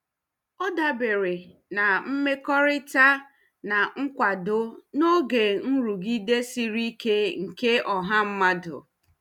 Ọ dabere na mmekọrịta na nkwado n'oge nrụgide siri ike nke ọha mmadụ.